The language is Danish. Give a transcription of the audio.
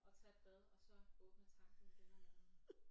Og tage et bad og så åbne tanken igen om morgenen